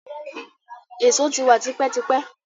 Èso ti wa tipẹ́ tipẹ́.